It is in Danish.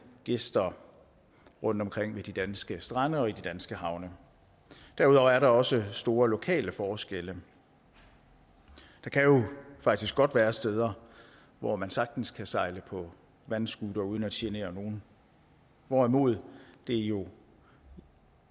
gæster rundtomkring ved de danske strande og i de danske havne derudover er der også store lokale forskelle der kan jo faktisk godt være steder hvor man sagtens kan sejle på vandscootere uden at genere nogen hvorimod det jo